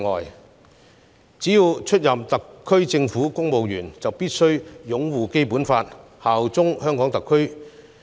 因此，凡出任特區政府公務員者，便必須擁護《基本法》，效忠特區政府。